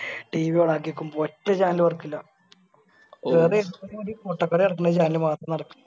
TVOn ആക്കിയൊക്കുമ്പോ ഒറ്റ Channel work ഇല്ല ഓലെ ഇഷ്ടത്തിന് വേണ്ടി പൊട്ടത്തരേർക്ക്ണ Channel മാത്രം നടക്കുന്നു